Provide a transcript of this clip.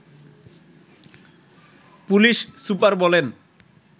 police super বলেন